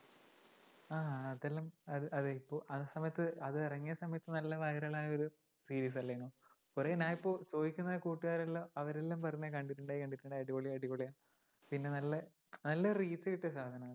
ആ അതെല്ലാം അത് അതിപ്പോ ആ സമയത്ത് അതിറങ്ങിയ സമയത്തു നല്ല viral ആയ ഒരു series അല്ലേനു? കുറേ ആയപ്പോ ചോദിക്കുന്ന കൂട്ടുകാരെല്ലാം അവരെല്ലാം പറഞ്ഞു കണ്ടിട്ടുണ്ടായികണ്ടിട്ടുണ്ടായി അടിപൊളിയാ അടിപൊളിയാ പിന്നെ നല്ല നല്ല ഒരു reach കിട്ടിയ സാധനാ അത്.